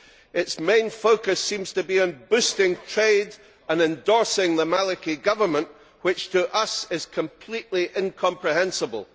Its main focus seems to be on boosting trade and endorsing the Maliki Government, which to us is completely incomprehensible.